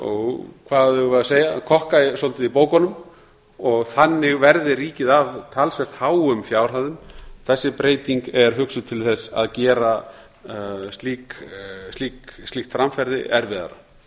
og kokka svolítið í bókunum og þannig verði ríkið af talsvert háum fjárhæðum þessi breyting er hugsuð til þess að gera slíkt framferði erfiðara